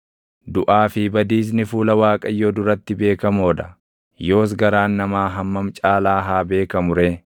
Duʼaa fi Badiisni fuula Waaqayyoo duratti beekamoo dha; yoos garaan namaa hammam caalaa haa beekamu ree!